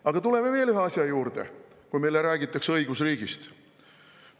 Aga tuleme veel ühe asja juurde, kui meile räägitakse õigusriigist.